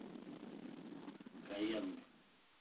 каянг